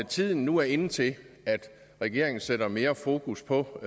tiden nu er inde til at regeringen sætter mere fokus på